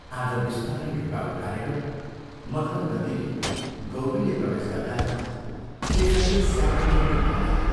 आज बिस्तारै ढोका उघारेर मथर गतिले गौरीले प्रवेश गर्दा शेखरले श्यामा आई भन्ठानेथ्यो।